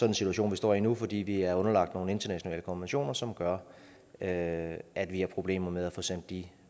en situation vi står i nu fordi vi er underlagt nogle internationale konventioner som gør at at vi har problemer med at få sendt de